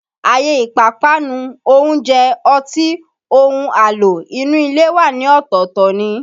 Àyè ìpápánu, oúnjẹ, ọtí, ohun àlò inú ilé wà ní ọ̀tọ̀ọ̀tọ̀ ni